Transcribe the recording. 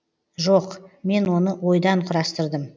жоқ мен оны ойдан құрастырдым